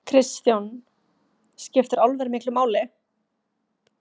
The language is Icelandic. Kristján: Skiptir álver miklu máli?